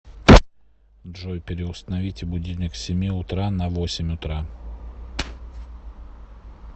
джой переустановите будильник с семи утра на восемь утра